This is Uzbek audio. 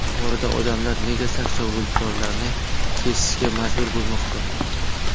Buxoroda odamlar nega saksovulzorlarni kesishga majbur bo‘lmoqda?.